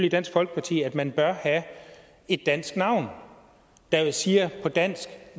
i dansk folkeparti at man bør have et dansk navn der siger på dansk